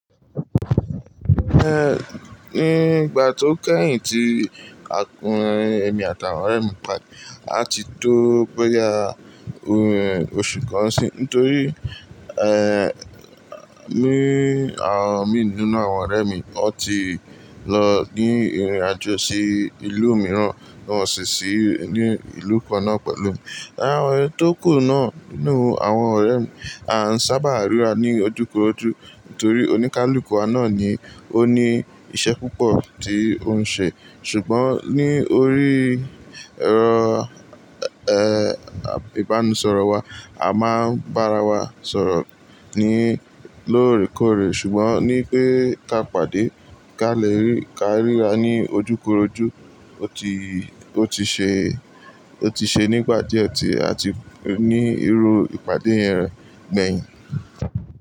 Nígbà tó kẹ́yìn tí a pinu èmi àtàwọn ọ̀rẹ́ mi pàdé, a ti tó boya oṣù kan n si n nítorí, àwọn mi nínú àwọn ọ̀rẹ́ mi wọ́n ti lọ ní ìrìn àjò sí ìlú mìíràn, wọn sì ṣí ní ìlú kan náà pẹ̀lú mi. Àwọn tó kù náà nínú àwọn ọ̀rẹ́ mi, a ń sábà ríra ní ojúkorojú nítorí oníkálukú wa náà ni ó ní iṣẹ́ púpọ̀ tí òun ń ṣe. Ṣùgbọ́n ní orí ẹrọ ìbánisọ̀rọ̀ wa, a máa ń bá ara wa sọ̀rọ̀ ní lóòrèkóòrè. Ṣùgbọ́n ní pe ka pàdé kí a lè rí, ká ríra ní ojúkorojú, ó ti, ó ti ṣe, ó ti ṣe nígbà díẹ̀ ọ̀tí àti ní irú ìpàdé yẹn gbẹ̀yìn.